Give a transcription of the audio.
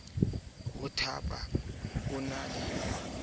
ho thapa o ne a